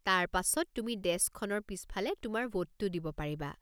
তাৰ পাছত তুমি ডেস্কখনৰ পিছফালে তোমাৰ ভোটটো দিব পাৰিবা।